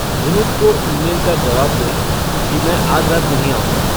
जिमित को ईमेल का जवाब दें कि मैं आज रात नहीं आऊँगा